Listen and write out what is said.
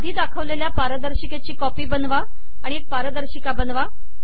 आधी दाखवलेल्या पारदर्शिकेची कॉपी बनवा आणि एक पारदर्शिका बनवा